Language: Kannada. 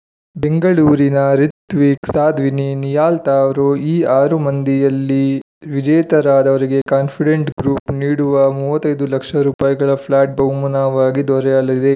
ಬೆಂಗಳೂರಿನ ರಿತ್ವಿಕ್‌ ಸಾಧ್ವಿನಿ ನಿಹಾಲ್‌ ತಾವ್ರೋ ಈ ಆರು ಮಂದಿಯಲ್ಲಿ ವಿಜೇತರಾದವರಿಗೆ ಕಾನ್ಫಿಡೆಂಟ್‌ ಗ್ರೂಪ್‌ ನೀಡುವ ಮೂವತ್ತ್ ಐದು ಲಕ್ಷ ರೂಪಾಯಿಗಳ ಫ್ಲಾಟ್‌ ಬಹುಮಾನವಾಗಿ ದೊರೆಯಲಿದೆ